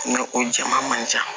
N ko o jɛman man ca